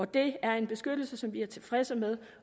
det er en beskyttelse som vi er tilfredse med